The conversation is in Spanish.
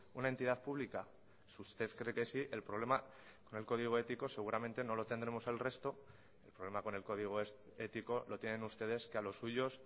una entidad pública si usted cree que sí el problema con el código ético seguramente no lo tendremos el resto el problema con el código ético lo tienen ustedes que a los suyos